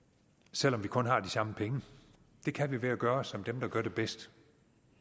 selv om vi kun har de samme penge det kan vi ved at gøre som dem der gør det bedst